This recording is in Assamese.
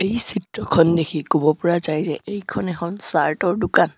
এই চিত্ৰখন দেখি ক'ব পৰা যায় যে এইখন এখন চাৰ্ট ৰ দোকান।